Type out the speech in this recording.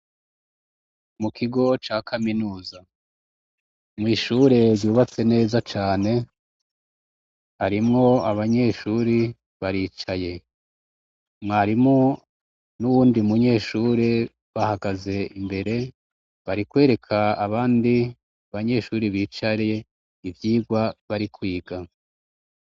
Mu kigo ca kaminuza mwishure yubatse neza cane arimwo abanyeshuri baricaye mwarimo n'uwundi munyeshuri bahagaze imbere barikwereka abandi banyeshuri bicariye ivyigwa bari kwiga.